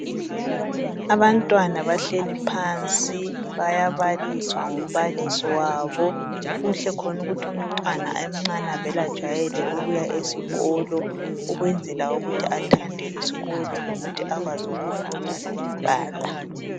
Abantwana bahleli phansi, bayabaliswa ngumbalisi wabo. Kuhle khona ukuthi umntwana emncane avele ajwayele ukuya esikolo. Ukwenzela ukuthi athande isikolo lokuthi akwazi ukufunda lokubhala.